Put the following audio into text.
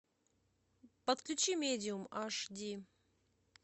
подключи медиум аш ди